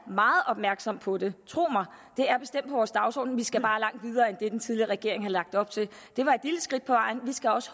meget opmærksomme på det tro mig det er bestemt vores dagsorden vi skal bare langt videre end det den tidligere regering har lagt op til det var et lille skridt på vejen vi skal også